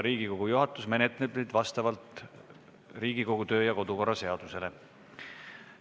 Riigikogu juhatus menetleb neid vastavalt Riigikogu kodu- ja töökorra seadusele.